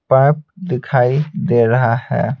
Pipe दिखाई दे रहा है।